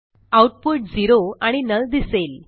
output zero आणि null दिसेल